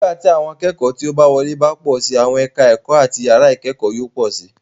Nígbà tí àwọn akẹ́kọ̀ọ́ tí ó bá wọlé bá pọ̀ síi, àwọn ẹ̀ka ẹ̀kọ́ àti yàrá ìkẹ́kọ̀ọ́ yóò pọ̀ síi.